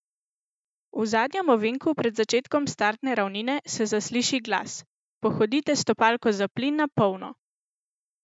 V zadnjem ovinku pred začetkom startne ravnine se zasliši glas: "Pohodite stopalko za plin na polno".